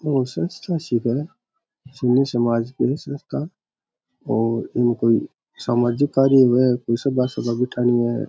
आ कोई संस्था सी है जो समाज की है संस्था और एक कोई सामाजिक कार्य हुए कोई सभा सभा बेठाणी है।